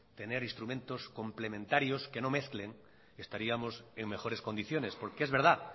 tener instrumentos complementarios que no mezclen estaríamos en mejores condiciones porque es verdad